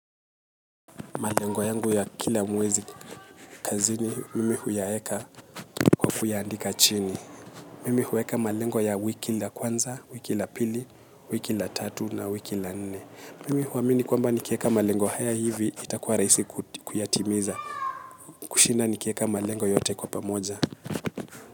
Malengo yangu ya kila mwezi kazini mimi huyaweka kwa kuyaandika chini. Mimi huweka malengwa ya wiki la kwanza, wiki la pili, wiki la tatu na wiki la nne. Mimi huamini kwamba nikiweka malengo haya hivi itakuwa rahisi kuyatimiza. Kushinda nikiweka malengo yote kwa pamoja.